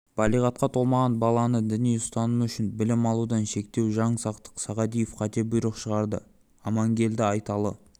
балиғатқа толмаған баланы діни ұстанымы үшін білім алудан шектеу жаңсақтық сағадиев қате бұйрық шығарды аманегелді айталы